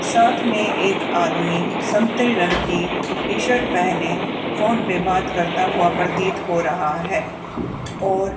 साथ में एक आदमी संतरे रंग की टी शर्ट पहने फोन पे बात करता हुआ प्रतीत हो रहा है और--